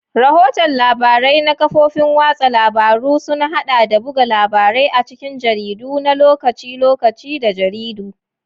Rahoton labarai na kafofin watsa labaru sun haɗa da buga labarai a cikin jaridu na lokaci-lokaci da jaridu.